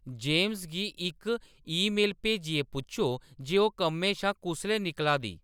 James गी इक email भेजियै पुच्छो जे ओह्‌‌ कम्मै शा कुसलै निकला दी